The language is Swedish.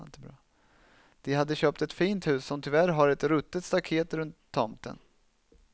De hade köpt ett fint hus som tyvärr har ett ruttet staket runt tomten.